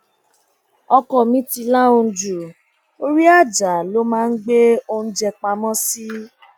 ọkọ mi ti lahùn ju orí ajá lọ máa ń gbé oúnjẹ pamọ sí